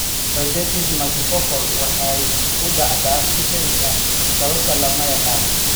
Choroiditis Multifocal waxay u dhacdaa si kedis ah sababtana hadda lama yaqaan (idiopathic).